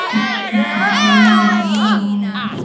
कुछ बैलून लगा हुआ है।